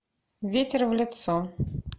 ветер в лицо